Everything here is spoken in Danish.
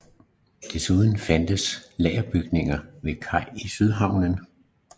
Desuden fandtes lagerbygninger ved kaj i Sydhavnen